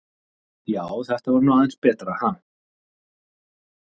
Já, þetta var nú aðeins betra, ha!